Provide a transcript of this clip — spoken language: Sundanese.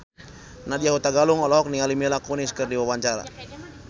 Nadya Hutagalung olohok ningali Mila Kunis keur diwawancara